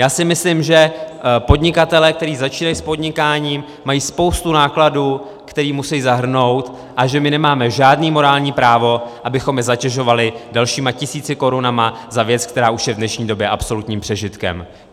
Já si myslím, že podnikatelé, kteří začínají s podnikáním, mají spoustu nákladů, které musí zahrnout, a že my nemáme žádné morální právo, abychom je zatěžovali dalšími tisíci korunami za věc, která už je v dnešní době absolutním přežitkem.